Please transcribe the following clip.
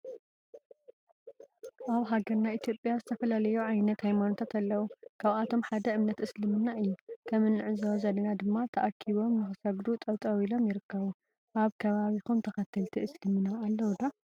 አብ ሃገርና ኢትዮጲያ ዝተፈላለዩ ዓይነት ሃየማኖታተ አለው ካብአቶም ሓደ እምነተ እስልምና እዩ። ከም እንዕዞቦ ዘለና ድማ ተአኪቦም ንክሰግዱ ጠጠው ኢሎም ርይከቡ። አብ ከባቢኩም ተከተልቲ እስልምና አሎው ዶ?